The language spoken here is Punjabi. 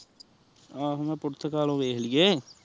ਆਹ ਹੁਣ ਮੈ ਪੁਰ੍ਥ੍ਕਾਲੋ ਵੇਖ ਲੇਇਏ